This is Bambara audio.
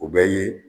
O bɛ ye